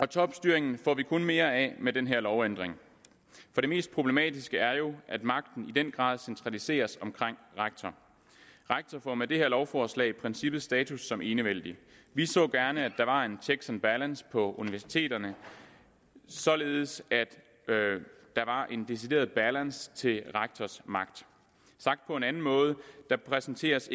topstyring får vi kun mere af med den her lovændring for det mest problematiske er jo at magten i den grad centraliseres omkring rektor rektor får med det her lovforslag i princippet status som enevældig vi så gerne at der var en checks and balance på universiteterne således at der var en decideret balance til rektors magt sagt på en anden måde præsenteres